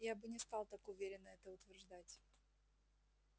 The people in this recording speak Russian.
я бы не стал так уверенно это утверждать